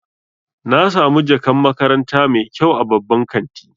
Na samu jakan makaranta mai kyau a babban kanti.